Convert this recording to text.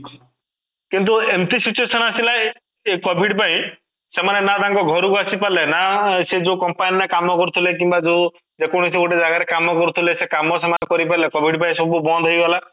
କିନ୍ତୁ ଏମିତି situation ଆସିଲା ଏ covid ପାଇଁ ସେମାନେ ନା ତାଙ୍କ ଘର କୁ ଆସିପାରିଲେ ନା ସେ ଯୋଉ company ରେ କାମ କରୁଥିଲେ କିମ୍ବା ଯେ ଯେକୌଣସି ଗୋଟେ ଜାଗା ରେ କାମ କରୁଥିଲେ କାମ ସେମାନେ କରିପାରୁନଥିଲେ covid ପାଇଁ ସବୁ ବନ୍ଦ ହେଇଗଲା